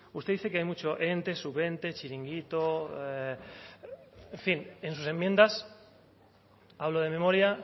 usted dice que hay mucho ente sub ente chiringuito en fin en sus enmiendas hablo de memoria